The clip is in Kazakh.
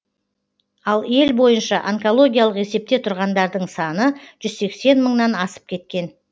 ал ел бойынша онкологиялық есепте тұрғандардың саны жүз сексен мыңнан асып кеткен